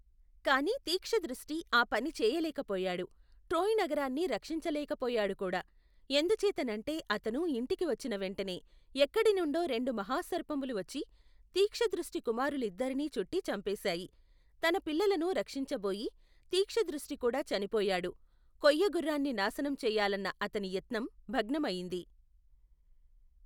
కాని తీక్షదృష్టి ఆ పని చేయలేక పోయాడు ట్రోయ్ నగరాన్ని రక్షించలేక పోయాడుకూడా, ఎందుచేతనంటే అతను ఇంటికి వచ్చినవెంటనే ఎక్కడినుండో రెండు మహాసర్పములు వచ్చి తీక్షదృష్టి కుమారులిద్దరినీ చుట్టి చంపేశాయి, తన పిల్లలను రక్షించబోయి తీక్షదృష్టి కూడా చనిపోయాడు కొయ్యగుర్రాన్ని నాశనం చెయ్యాలన్న అతని యత్నం భగ్నమయింది.